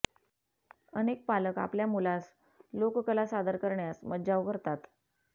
अनेक पालक आपल्या मुलास लोककला सादर करण्यास मज्जाव करतात